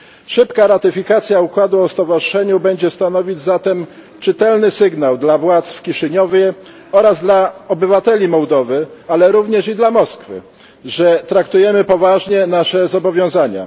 Szybka ratyfikacja układu o stowarzyszeniu będzie stanowić zatem czytelny sygnał dla władz w Kiszyniowie oraz dla obywateli Mołdowy ale również i dla Moskwy że traktujemy poważnie nasze zobowiązania.